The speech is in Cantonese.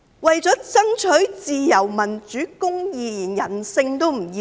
為了爭取自由、民主、公義，連人性也不要。